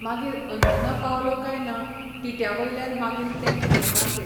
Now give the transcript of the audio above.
मागीर अंजुना पावलो कांय ना टिट्या वयल्यान मागीर तें फ्ली मार्केट.